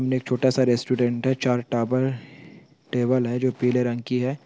छोटा सा रेस्टोरेंट है चार टावर टेबल है जो पीले रंग की है।